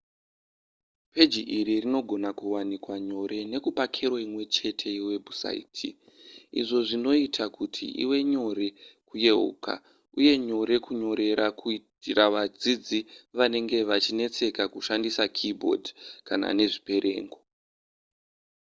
peji iri rinogona kuwanikwa nyore nekupa kero imwechete yewebhusaiti izvo zvinoita kuti ive nyore kuyeuka uye nyore kunyorera kuitira vadzidzi vanenge vachinetseka kushandisa keyboard kana nezviperengo